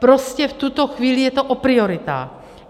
Prostě v tuto chvíli je to o prioritách.